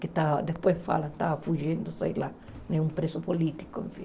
que tal depois falam que estava fugindo, sei lá, um preso político, enfim.